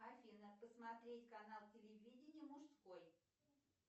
афина посмотреть канал телевидения мужской